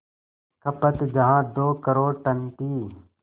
खपत जहां दो करोड़ टन थी